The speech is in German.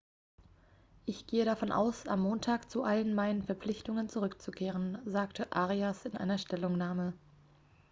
ich gehe davon aus am montag zu allen meinen verpflichtungen zurückzukehren sagte arias in einer stellungnahme